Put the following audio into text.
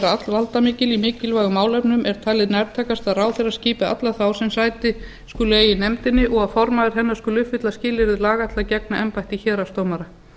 vera allvaldamikil í mikilvægum málefnum er talið nærtækast að ráðherra skipi alla þá sem sæti skuli eiga í nefndinni og formaður hennar skuli uppfylla skilyrði laga til að gegna embætti héraðsdómara